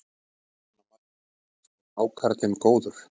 Jóhanna Margrét: Finnst þér hákarlinn góður?